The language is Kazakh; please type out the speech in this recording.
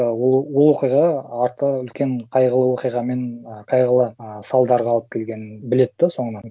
ы ол оқиға арты үлкен қайғылы оқиғамен ы қайғылы ы салдарға алып келгенін біледі да соңынан